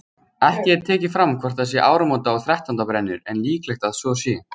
Ekki er tekið fram hvort það voru áramóta- og þrettándabrennur en líklegt að svo sé.